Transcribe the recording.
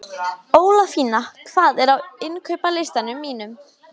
Ólafína, hvað er á innkaupalistanum mínum?